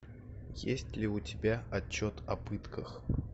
есть ли у тебя отчет о пытках